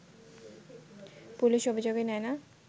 police অভিযোগই নেয় না